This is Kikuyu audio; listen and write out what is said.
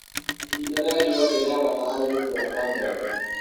ihinda rĩa riũa ni ria bata harĩ gũkũra kwa mbembe